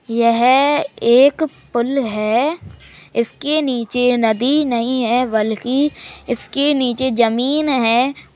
यह एक पुल है। इसके नीचे नदी नही है बल्कि इसके नीचे जमीन है।